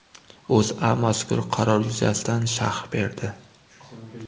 O‘zA mazkur qaror yuzasidan sharh berdi .